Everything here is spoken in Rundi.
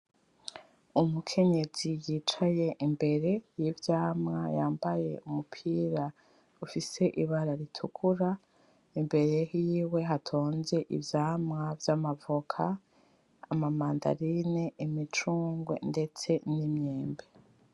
Umukenyezi yicaye imbere y’ivyamwa, yambaye umupira ufise ibara ritukura imbere hiwe hatonze ivyamwa vy’amavoka ; amamandarine ; imicungwe ndetse n’imyembe.